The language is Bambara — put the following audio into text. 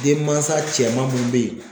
Den mansa cɛman mun bɛ ye